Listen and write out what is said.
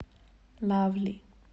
лавли